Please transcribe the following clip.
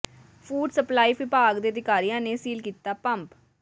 food supply ਵਿਭਾਗ ਦੇ ਅਧਿਕਾਰੀਆਂ ਨੇ ਸੀਲ ਕੀਤਾ ਪੰਪ